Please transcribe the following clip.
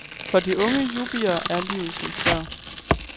For de unge yuppier er livet som før.